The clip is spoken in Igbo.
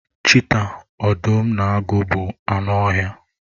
Chiita, ọdụm na agụ bụ anụ ọhịa.